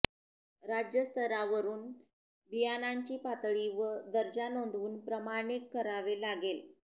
राज्य स्तरावरून बियाणांची पातळी व दर्जा नोंदवून प्रमाणित करावे लागेल